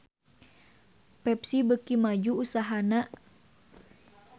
Pepsi beuki maju usahana